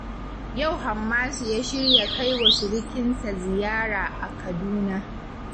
Yau Hammasu ya shirya kai wa surikinsa ziyara a Kaduna